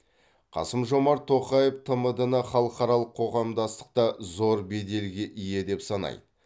қасым жомарт тоқаев тмд ны халықаралық қоғамдастықта зор беделге ие деп санайды